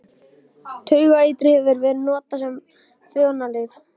Taugaeitrið hefur verið notað sem fegrunarlyf.